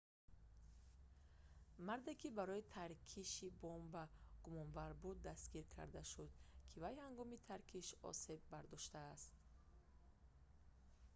марде ки барои таркиши бомба гумонбар буд дастгир карда шуд ки вай ҳангоми таркиш осеби бардоштааст